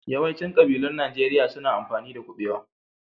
Yawaicin ƙabilun Najeriya su na amfani da kuɓewa.